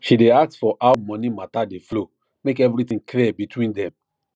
she day ask for how money matter dey flow make everything clear between dem